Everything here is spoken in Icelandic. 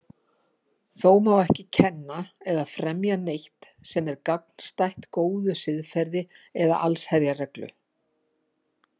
Þó má ekki kenna eða fremja neitt sem er gagnstætt góðu siðferði eða allsherjarreglu.